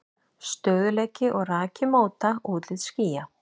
Stöðugleiki og raki móta útlit skýja.